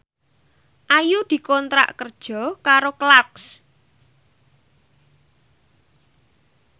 Ayu dikontrak kerja karo Clarks